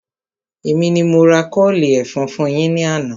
Èmi ni mo ra kọ́ọ̀lì ẹ̀fọn fún yín ní àná